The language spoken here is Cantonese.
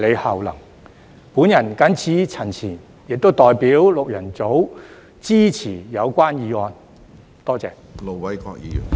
我謹此陳辭，亦代表六人組支持議案。